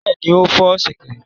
Bẹ́ẹ̀ni, ó fọ́ ṣẹ̀kẹ̀rẹ̀.